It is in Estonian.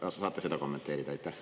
Kas te saate seda kommenteerida?